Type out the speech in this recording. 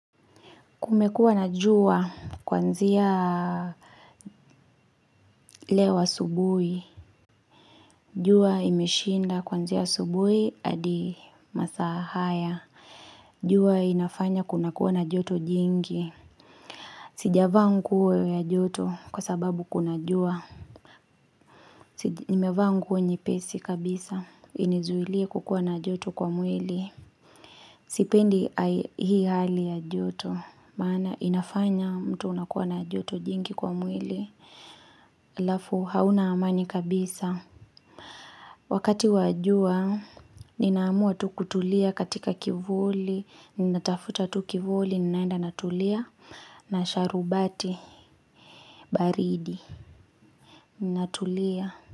Kumekuwa na jua kuanzia leo asubuhi. Jua imeshinda kuanzia asubuhi adi masaa haya. Jua inafanya kuna kuwa na joto jingi. Sijavaa nguo ya joto kwa sababu kuna jua. Nimevaa nguo nyepesi kabisa. Inizuilie kukuwa na joto kwa mwili. Sipendi hii hali ya joto. Maana inafanya mtu unakuwa na joto jingi kwa mwili. Halafu hauna amani kabisa Wakati wa jua, ninaamua tu kutulia katika kivuli. Ninatafuta tu kivuli, ninaenda natulia na sharubati baridi. Ninatulia.